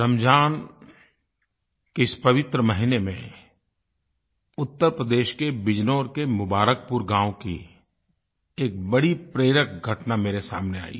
रमज़ान के इस पवित्र महीने में उत्तर प्रदेश के बिजनौर के मुबारकपुर गाँव की एक बड़ी प्रेरक घटना मेरे सामने आयी